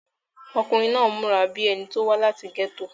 ọkùnrin náà múra bíi ẹni tí ó wá láti gẹ́tò